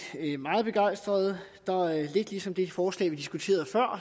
meget begejstrede lidt ligesom det forslag vi diskuterede